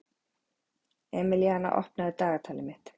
Emelíana, opnaðu dagatalið mitt.